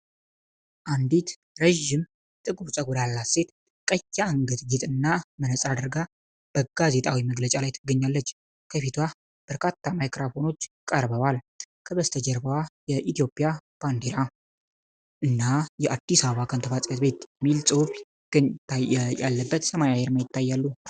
አንዲት ረጅም ጥቁር ፀጉር ያላት ሴት ቀይ የአንገት ጌጥና መነጽር አድርጋ በጋዜጣዊ መግለጫ ላይ ትገኛለች። ከፊቷ በርካታ ማይክሮፎኖች ቀርበዋል። ከበስተጀርባው የኢትዮጵያ ባንዲራ እና የ"አዲስ አበባ ከንቲባ ጽ/ቤት" የሚል ጽሑፍ ያለበት ሰማያዊ ዓርማ ይታያሉ።